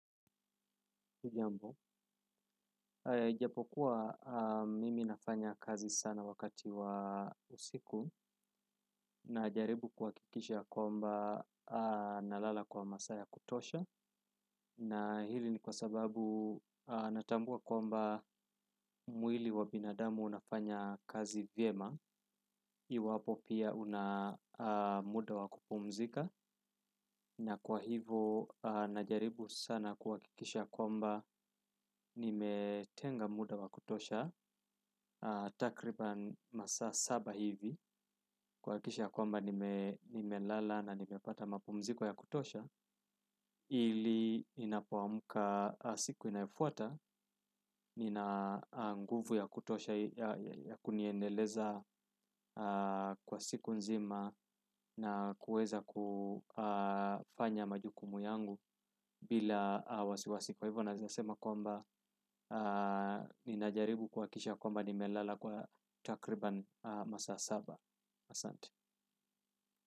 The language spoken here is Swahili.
Hujambo, ijapokuwa mimi nafanya kazi sana wakati wa usiku najaribu kuhakikisha ya kwamba nalala kwa masaa ya kutosha na hili ni kwa sababu natambua kwamba mwili wa binadamu unafanya kazi vyema iwapo pia una muda wa kupumzika na kwa hivo najaribu sana kuhakikisha ya kwamba nimetenga muda wa kutosha takriban masaa saba hivi kuhakikisha ya kwamba nimelala na nimepata mapumziko ya kutosha ili ninapoamka siku inayofuata nina nguvu ya kutosha ya kuniendeleza kwa siku nzima na kuweza kufanya majukumu yangu bila wasiwasi kwa hivyo naeza sema kwamba ninajaribu kuhakikisha kwamba nimelala kwa takriban masaa saba asante.